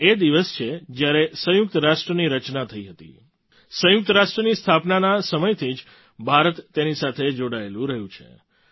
આ એ દિવસ છે જ્યારે સંયુક્ત રાષ્ટ્રની રચના થઈ હતી સંયુક્ત રાષ્ટ્રની સ્થાપનાના સમયથી જ ભારત તેની સાથે જોડાયેલું રહ્યું છે